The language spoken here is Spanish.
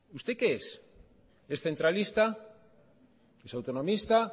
usted qué es es centralista es autonomista